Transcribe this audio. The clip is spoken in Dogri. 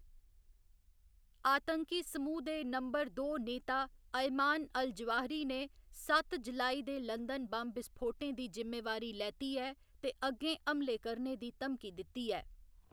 आतंकी समुह दे नंबर दो नेता अयमान अल जवाहिरी ने सत्त जुलाई दे लंदन बम्ब विस्फोटें दी जिम्मेवारी लैती ऐ ते अग्गें हमले करने दी धमकी दित्ती ऐ।